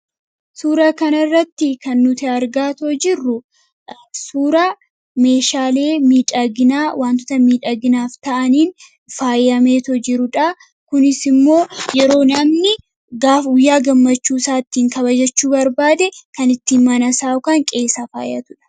Suuraa kanarratti kan nuti argaa jirru suuraa meeshaalee miidhaginaa waantota miidhaginaaf ta'aniin faayameetoo jirudha. Kunis immoo yeroo namni guyyaa gammachuu isaa kabajachuu barbaade mana isaa ittiin faayatudha.